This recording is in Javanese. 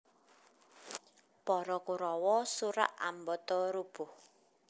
Para Kurawa surak ambata rubuh